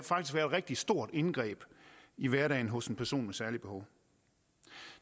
et rigtig stort indgreb i hverdagen hos en person med særlige behov